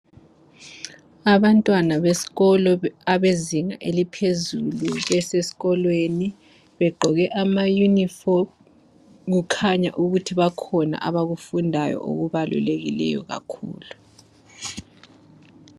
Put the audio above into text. Abantwana besikolo abezinha eliphezulu besesikolweni begqoke amayunifomu kukhanya ukuthi bakhona abakufundayo okubaluleke kakhulu